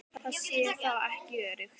Það sé þó ekki öruggt.